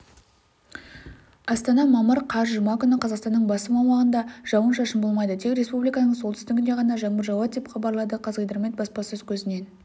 астана мамыр қаз жұма күні қазақстанның басым аумағында жауын-шашын болмайды тек республиканың солтүстігінде ғана жаңбыр жауады деп хабарлады қазгидромет баспасөз қызметінен